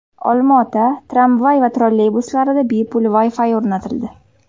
Olma-ota tramvay va trolleybuslarida bepul Wi-Fi o‘rnatildi.